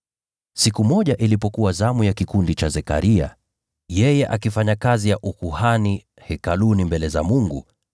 Siku moja ilipokuwa zamu ya kikundi cha Zekaria, yeye akifanya kazi ya ukuhani Hekaluni mbele za Mungu,